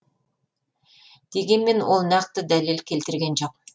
дегенмен ол нақты дәлел келтірген жоқ